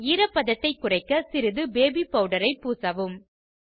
பின் ஈரப்பதத்தை குறைக்க சிறிது பேபி பெளடரை பூசவும்